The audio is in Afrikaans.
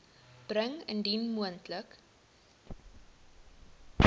bring indien moontlik